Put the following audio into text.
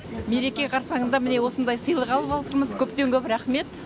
мереке қарсаңында міне осындай сыйлық алып отырмыз көптен көп рақмет